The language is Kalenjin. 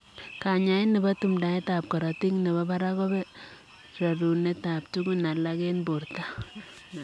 Kanyaaet nepoo tumdaet ap korotik nepoo parak kopee rerunet ap tugun alak eng portoo anan